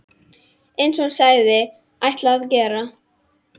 Eins og hún sagðist ætla að gera.